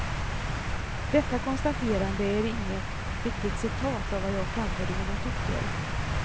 Detta konstaterande är inget riktigt citat av vad jag framförde i min artikel.